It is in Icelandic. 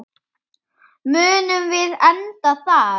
Munum við enda þar?